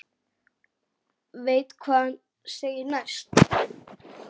Veit hvað hann segir næst.